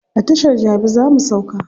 A tashar jabi za mu sauka.